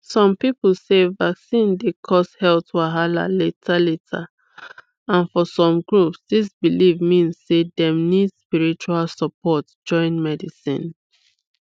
some people sey vaccine dey cause health wahala later later and for some groups this belief mean sey dem need spiritual support join medicine